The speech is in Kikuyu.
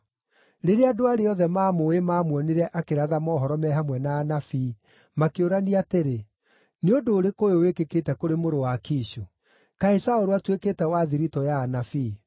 Rĩrĩa andũ arĩa othe maamũũĩ maamuonire akĩratha mohoro me hamwe na anabii, makĩũrania atĩrĩ, “Nĩ ũndũ ũrĩkũ ũyũ wĩkĩkĩte kũrĩ mũrũ wa Kishu? Kaĩ Saũlũ atuĩkĩte wa thiritũ ya anabii?”